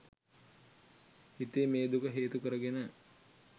හිතේ මේ දුක හේතු කරගෙන